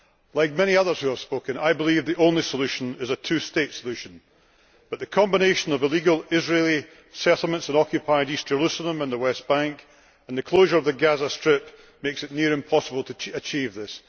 Like many others who have spoken, I believe the only solution is a two state solution, but the combination of illegal Israeli settlements in occupied East Jerusalem and the West Bank and the closure of the Gaza Strip makes it near impossible to achieve this.